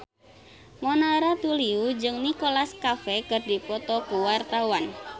Mona Ratuliu jeung Nicholas Cafe keur dipoto ku wartawan